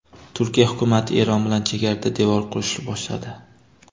Turkiya hukumati Eron bilan chegarada devor qurishni boshladi.